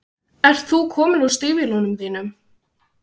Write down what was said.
Ert þú kominn úr stígvélunum þínum?